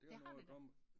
Det har det da